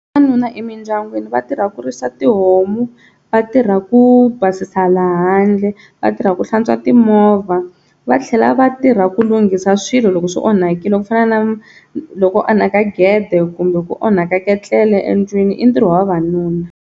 Vavanuna emindyangwini va tirha ku risa tihomu va tirha ku basisa laha handle va tirha ku hlantswa timovha va tlhela va tirha ku lunghisa swilo loko swi onhakile ku fana na loko ku onhaka gede kumbe ku onhaka ketlele endlwini i ntirho wa vavanuna.